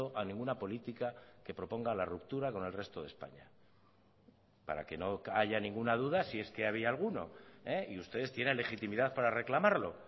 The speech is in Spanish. a ninguna política que proponga la ruptura con el resto de españa para que no haya ninguna duda si es que había alguno y ustedes tienen legitimidad para reclamarlo